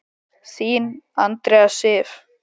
Þín, Andrea Sif.